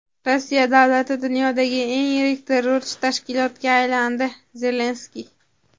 Rossiya davlati dunyodagi eng yirik terrorchi tashkilotga aylandi – Zelenskiy.